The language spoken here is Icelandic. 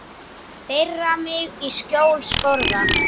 þeirra mig í skjóli skorða